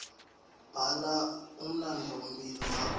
bhala umlandvomphilo wakho